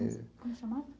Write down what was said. Como se chamava?